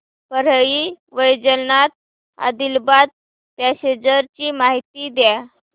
Parli Vaijnath Adilabad passenger ची माहिती द्या